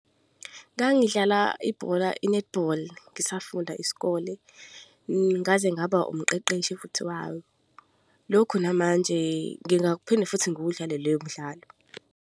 Ngangidlala ibhola i-netball ngisafunda isikole, ngaze ngaba umqeqeshi futhi walo. Lokhu namanje ngingakuphinda futhi ngiwudlale lowo mdlalo.